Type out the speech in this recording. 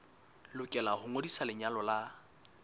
lokela ho ngodisa lenyalo la